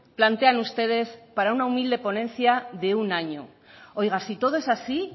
plantean ustedes para una humilde ponencia de un año oiga si todo es así